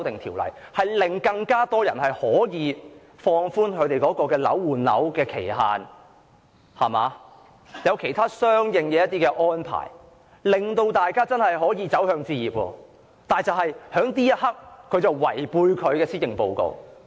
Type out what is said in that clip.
《條例草案》可放寬換樓的期限，並訂有其他相應安排，令更多市民可以真正走向置業，但就在這一刻，她卻違背其施政報告。